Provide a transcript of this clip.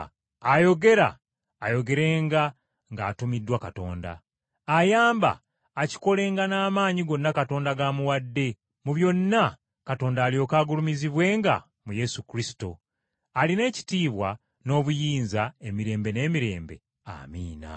Ayogera, ayogerenga ng’atumiddwa Katonda; ayamba, akikolenga n’amaanyi gonna Katonda g’amuwadde; mu byonna Katonda alyoke agulumizibwenga mu Yesu Kristo, alina ekitiibwa n’obuyinza emirembe n’emirembe. Amiina.